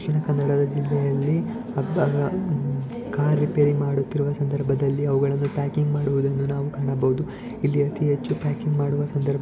ಇದು ದಕ್ಷಿಣ ಕನ್ನಡ ಜಿಲ್ಲೆಯಲ್ಲಿ car repair ಮಾಡುತ್ತಿರುವ ಸಂದರ್ಭದಲ್ಲಿ ಅವುಗಳನ್ನು ಪ್ಯಾಕಿಂಗ್‌ ಮಾಡುತ್ತಿರುವುದನ್ನು ನಾವು ಕಾಣಬಹುದು. ಇಲ್ಲಿ ಅತೀ ಹೆಚ್ಚು ಪ್ಯಾಕಿಂಗ್‌ ಮಾಡುವ ಸಂದರ್ಭ--